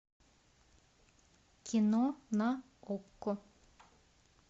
кино на окко